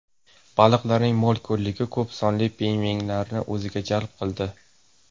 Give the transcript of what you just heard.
Baliqlarning mo‘l-ko‘lligi ko‘p sonli pingvinlarni o‘ziga jalb qildi.